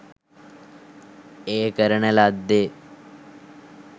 එය කරන ලද්දේ